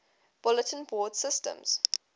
bulletin board systems